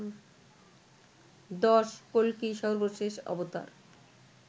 ১০. কল্কি সর্বশেষ অবতার